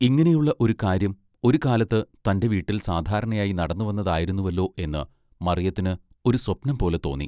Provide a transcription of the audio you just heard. ഇങ്ങിനെയുള്ള ഒരു കാര്യം ഒരു കാലത്ത് തന്റെ വീട്ടിൽ സാധാരണയായി നടന്നുവന്നതായിരുന്നുവെല്ലൊ എന്ന് മറിയത്തിന് ഒരു സ്വപ്നം പോലെ തോന്നി.